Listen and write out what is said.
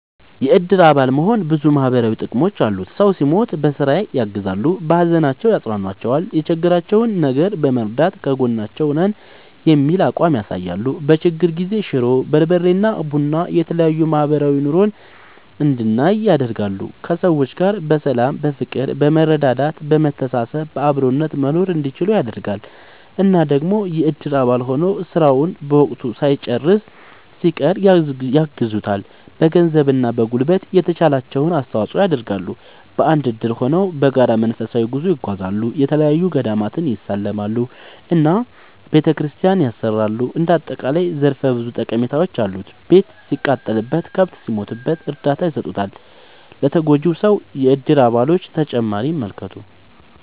የእድር አባል መሆን ብዙ ማህበራዊ ጥቅሞች አሉት ሰው ሲሞት በስራ ያግዛሉ። በሀዘናቸው ያፅኗኗቸዋል የቸገራቸውን ነገር በመርዳት ከጎናችሁ ነን የሚል አቋም ያሳያሉ። በችግር ጊዜ ሽሮ፣ በርበሬ እና ቡና የተለያዬ ማህበራዊ ኑሮን እንድንል ያደርጋል። ከሰዎች ጋር በሰላም በፍቅር በመረዳዳት በመተሳሰብ በአብሮነት መኖርእንዲችሉ ያደርጋል። እና ደግሞ የእድር አባል ሆኖ ስራን በወቅቱ ሳይጨርስ ሲቀር ያግዙታል በገንዘብ እና በጉልበት የተቻላቸውን አስተዋፅዖ ይደረጋል። በአንድ እድር ሆነው በጋራ መንፈሳዊ ጉዞ ይጓዛሉ፣ የተለያዪ ገዳማትን ይሳለማሉ እና ቤተክርስቲያን ያሰራሉ እንደ አጠቃላይ ዘርፈ ብዙ ጠቀሜታዎች አሉት። ቤት ሲቃጠልበት፣ ከብት ሲሞትበት እርዳታ ይሰጡታል ለተጎጂው ሰው የእድር አባሎቹ።…ተጨማሪ ይመልከቱ